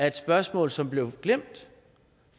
et spørgsmål som blev glemt